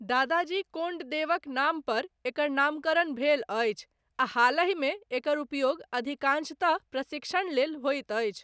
दादाजी कोण्डदेवक नाम पर एकर नामकरण भेल अछि आ हालहिमे एकर उपयोग अधिकांशतः प्रशिक्षण लेल होइत अछि।